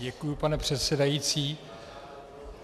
Děkuji, pane předsedající.